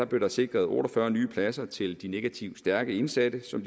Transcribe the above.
blev der sikret otte og fyrre nye pladser til de negativt stærke indsatte som